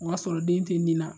O y'a sɔrɔ den te nin na